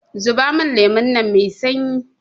zubo min lemon nan Mai sanyi!